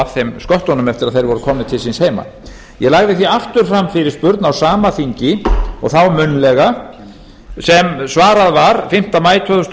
þeim sköttunum eftir að þeir voru komnir til síns heima ég lagði því aftur fram fyrirspurn á sama þingi og þá munnlega sem svarað var fimmta maí tvö þúsund og